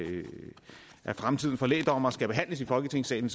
fremtiden for lægdommere skal behandles i folketingssalen